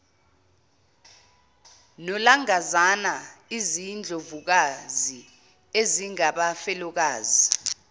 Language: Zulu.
nolangazana izindlovukazi ezingabafelokazi